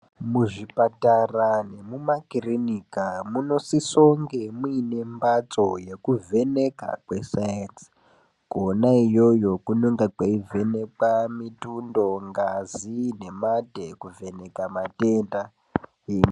Muzvipatara nemumakiriniki munosisonge muine mhatso yekuvheneka kwese kwona iyoyo kunenge kweivhenekwa mitundo ,ngazi nemate kuvheneka matenda